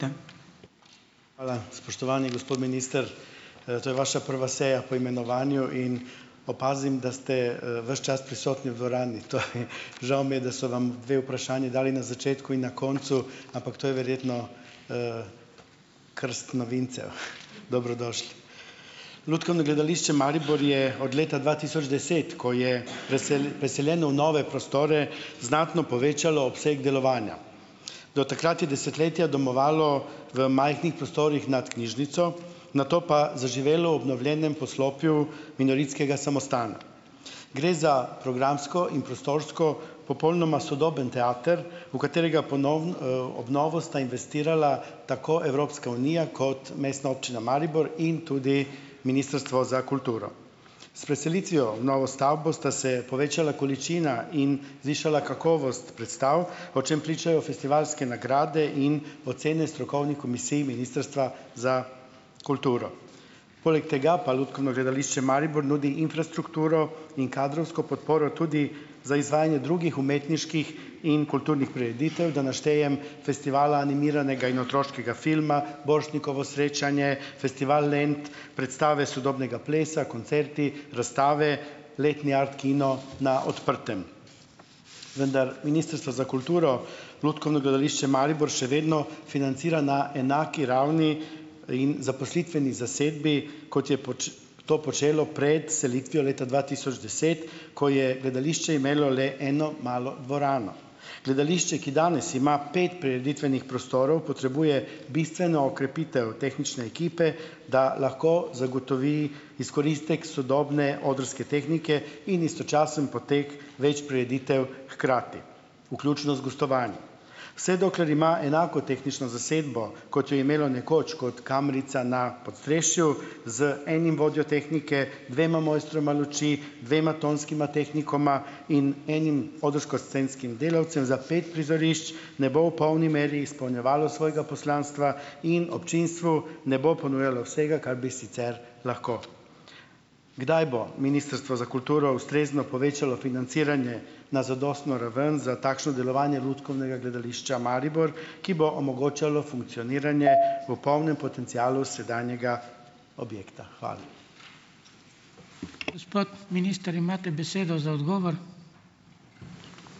Hvala. Spoštovani gospod minister. To je vaša prva seja po imenovanju in opazim, da ste, ves čas prisotni v dvorani. Žal mi je, da so vam dve vprašanji dali na začetku in na koncu, ampak to je verjetno krst novincev. Dobrodošli. Lutkovno gledališče Maribor je od leta dva tisoč deset, ko je preseljeno v nove prostore, znatno povečalo obseg delovanja. Do takrat je desetletja domovalo v majhnih prostorih nad knjižnico, nato pa zaživelo v obnovljenem poslopju invalidskega samostana. Gre za programsko in prostorsko popolnoma sodoben teater, v katerega obnovo sta investirala tako Evropska unija kot Mestna občina Maribor in tudi Ministrstvo za kulturo. S preselitvijo v novo stavbo sta se povečala količina in zvišala kakovost predstav, o čem pričajo festivalske nagrade in ocene strokovnih komisij ministrstva za kulturo. Poleg tega pa Lutkovno gledališče Maribor nudi infrastrukturo in kadrovsko podporo tudi za izvajanje drugih umetniških in kulturnih prireditev. Da naštejem: Festival animiranega in otroškega filma, Borštnikovo srečanje, Festival Lent, predstave sodobnega plesa, koncerti, razstave, letni art kino na odprtem. Vendar Ministrstvo za kulturo Lutkovno gledališče Maribor še vedno financira na enaki ravni in zaposlitveni zasedbi, kot je to počelo pred selitvijo leta dva tisoč deset, ko je gledališče imelo le eno malo dvorano. Gledališče, ki danes ima pet prireditvenih prostorov, potrebuje bistveno okrepitev tehnične ekipe, da lahko zagotovi izkoristek sodobne odrske tehnike in istočasen potek več prireditev hkrati, vključno z gostovanji. Vse dokler ima enako tehnično zasedbo, kot jo je imelo nekoč, kot kamrica na podstrešju, z enim vodjo tehnike, dvema mojstroma luči, dvema tonskima tehnikoma in enim odrsko-scenskim delavcem za pet prizorišč, ne bo v polni meri izpolnjevalo svojega poslanstva in občinstvu ne bo ponujalo vsega, kar bi sicer lahko. Kdaj bo Ministrstvo za kulturo ustrezno povečalo financiranje na zadostno raven za takšno delovanje Lutkovnega gledališča Maribor, ki bo omogočalo funkcioniranje v polnem potencialu sedanjega objekta. Hvala.